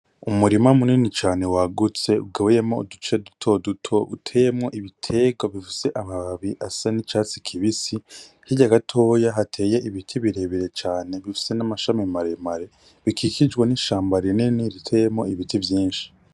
Umurima munini cane wagutse ugabuyemwo uduce dutoduto uteyemwo ibitegwa bifise amababi asa n' icatsi kibisi hirya gatoya hateye ibiti birebire cane bifise n' amashami mare mare bikikijwe n' ishamba rinini riteyemwo ibiti vyinshi.